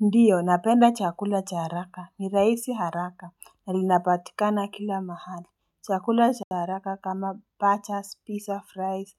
Ndiyo napenda chakula cha haraka ni rahisi haraka na linapatikana kila mahali Chakula cha haraka kama pacha, pizza, fries